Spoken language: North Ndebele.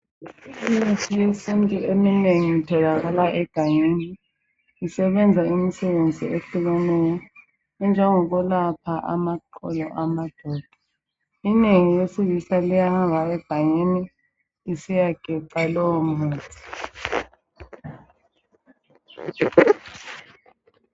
Imithi yesintu eminengi itholakala egangeni, isebenza imsebenzi ehlukeneyo, enjengokwelapha amaqolo amadoda. Inengi lesilisa liyahamba egangeni lisiyageca lowo muthi.